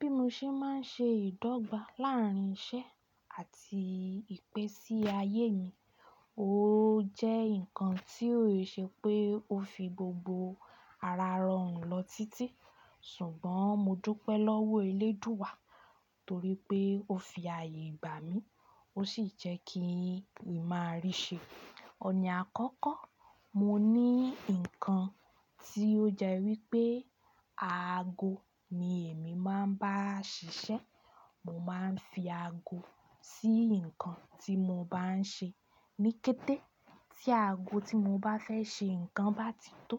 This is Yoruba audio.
Bí mo ṣe ma n ṣe ìdọ́gba láàrín iṣẹ́ àti ìpẹ́ sí ayé mi, ó jẹ́ ǹkan tí ò ṣe pé ó fi gbogbo ara rọrùn lọ títí. Ṣùgbọ́n mo dúpẹ́ lọ́wọ́ eléèdúú wá torí pé ó fi ààyè gbà mi, ó sì jẹ́ kí ìmárìí ṣe. Ọ̀ní àkọ́kọ́, mo ní ǹkan tí ó jẹ́ wípé aago ni èmi ma ba n ṣiṣẹ́. Mo ma n fi aago sí ǹkan tí mo ba n ṣe. Níkẹ́tẹ́ tí aago tí mo bá fẹ́ ṣe ǹkan bá ti tó